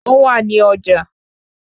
Ó wà ní ọjà